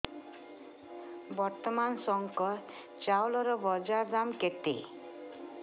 ବର୍ତ୍ତମାନ ଶଙ୍କର ଚାଉଳର ବଜାର ଦାମ୍ କେତେ